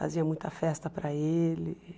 Fazia muita festa para ele.